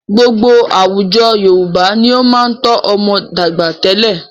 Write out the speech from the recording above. Gbogbo àwùjọ Yorùbá ni ó máa ń tọ́ ọmọ dàgbà tẹ́lẹ̀.